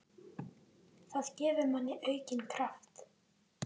Það gefur manni aukinn kraft.